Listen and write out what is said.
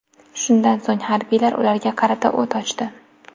Shundan so‘ng harbiylar ularga qarata o‘t ochdi.